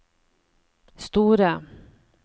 store